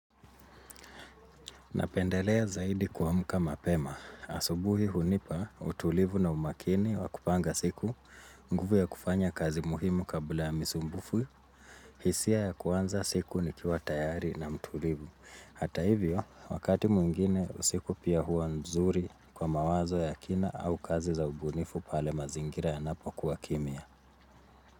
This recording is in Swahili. Napendelea zaidi kuamka mapema. Asubuhi hunipa utulivu na umakini wa kupanga siku. Nguvu ya kufanya kazi muhimu kabla ya misumbufu. Hisia ya kuanza siku nikiwa tayari na mtulivu. Hata hivyo, wakati mwingine usiku pia hua nzuri kwa mawazo ya kina au kazi za ubunifu pale mazingira yanapokuwa kimya.